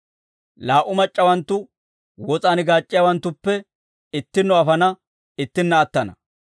Laa"u mac'c'awanttu wos'aan gaac'c'iyaawanttuppe ittinno afana; ittinna attana.